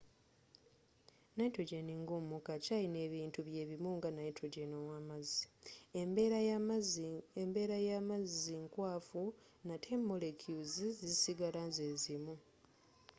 nitrogen nga omukka akyalina ebintu byebimu nga nitrogen ow'amazzi embeera y'amazzi nkwafu nate molecules zisigala ze zimu